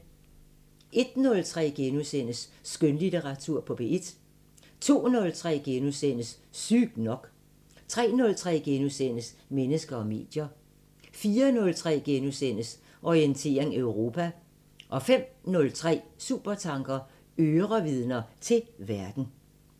01:03: Skønlitteratur på P1 * 02:03: Sygt nok * 03:03: Mennesker og medier * 04:03: Orientering Europa * 05:03: Supertanker: Ørevidner til verden